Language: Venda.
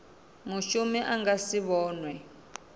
mushumi a nga si vhonwe